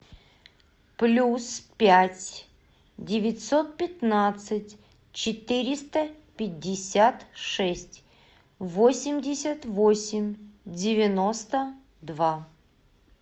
плюс пять девятьсот пятнадцать четыреста пятьдесят шесть восемьдесят восемь девяносто два